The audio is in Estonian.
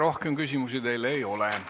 Rohkem küsimusi teile ei ole.